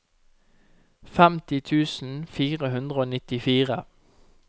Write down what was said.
femti tusen fire hundre og nittifire